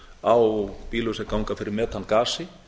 á bílum sem ganga fyrir metangasi